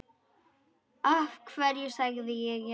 Af hverju sagði ég já?